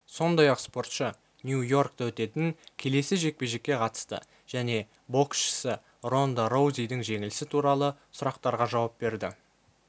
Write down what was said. сондай-ақ спортшы нью-йоркте өтетін келесі жекпе-жекке қатысты және боксшысы ронда роузидің жеңілісі туралы сұрақтарға жауап берді